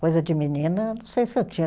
Coisa de menina, não sei se eu tinha.